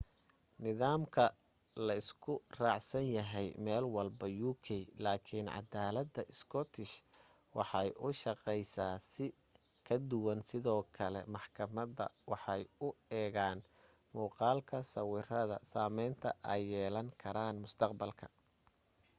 nidaamkan la isku raacsan yahay meelwalba uk lakin cadalada scottish waxay u shaqeysa si ka duwan sidoo kale maxkamada waxay u eegan muqalada sawirada sameynta ay yeelan karaan mustaqbalka